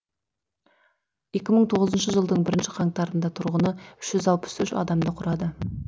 екі мың он тоғызыншы жылдың бірінші қаңтарында тұрғыны үш жүз алпыс үш адамды құрады